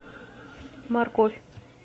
морковь